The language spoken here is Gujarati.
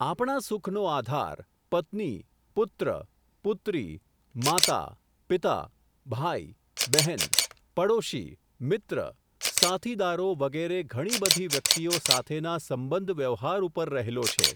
આપણા સુખનો આધાર પત્ની, પુત્ર, પુત્રી, માતા, પિતા, ભાઈ, બહેન, પડોશી, મિત્ર, સાથીદારો વગેરે ઘણીબધી વ્યક્તિઓ સાથેના સંબંધ વ્યવહાર ઉપર રહેલો છે.